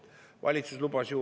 Valitsus lubas ju …